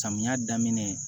Samiya daminɛ